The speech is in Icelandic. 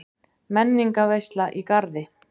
Menningarveisla í Garði